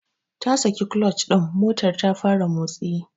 Ta saki clutch din motar ta fara motsi.